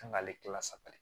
Kan k'ale kila saba kɛ